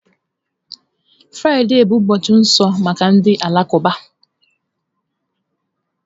Fraịde bụ ụbọchị nsọ maka ndị Alakụba.